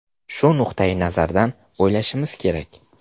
Shu nuqtai nazardan o‘ylashimiz kerak.